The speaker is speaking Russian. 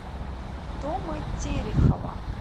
тома терехова